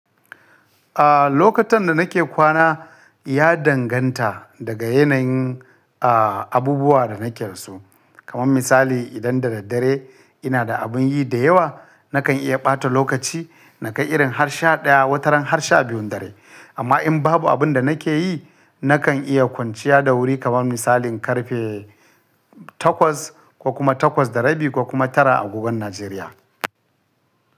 Ah, lokutan da nake kwana ya danganta daga yanayin, ah, abubuwa da nake da su. Kaman misali idan da daddare ina da abin yi da yawa, nakan iya ɓata lokaci nakai irin har sha ɗaya, wataran har sha biyun dare. Amma in babu abin da nake yi, nakan iya kwanciya da wuri kaman misalin karfe takwas ko kuma takwas da rabi ko kuma tara agogon Najeriya.